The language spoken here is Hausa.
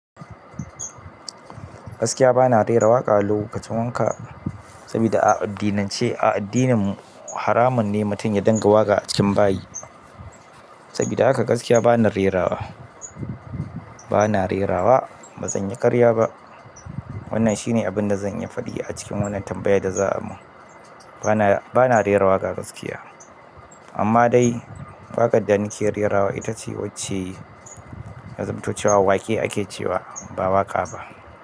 Gaskiya bana rera waƙa lokacin wanka sabida a addinance a addininmu haramun ne mutum ya dinga waƙa a cikin bayi. Sabida haka gaskiya bana rerawa, bana rerawa ba zan yi ƙarya ba. Wannan shine abin da zan iyi faɗi a cikin wannan tambaya da za a mun. Bana, bana rerawaqa gaskiya amma dai waƙar da nake rerawa ita ce wacce yazamto cewa waqe ake cewa ba waƙa ba.